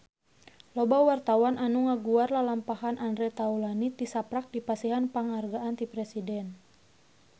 Loba wartawan anu ngaguar lalampahan Andre Taulany tisaprak dipasihan panghargaan ti Presiden